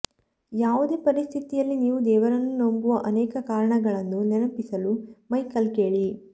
ಯಾವುದೇ ಪರಿಸ್ಥಿತಿಯಲ್ಲಿ ನೀವು ದೇವರನ್ನು ನಂಬುವ ಅನೇಕ ಕಾರಣಗಳನ್ನು ನೆನಪಿಸಲು ಮೈಕೆಲ್ ಕೇಳಿ